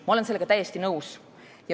" Ma olen sellega täiesti nõus.